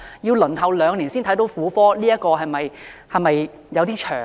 要輪候兩年才獲婦科診治，是否有點長呢？